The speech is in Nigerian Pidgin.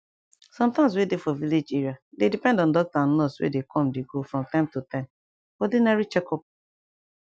some towns wey dey for village area dey depend on doctor and nurse wey dey com dey go from time to time for ordinary checkup